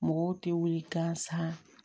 Mɔgɔw tɛ wuli gansan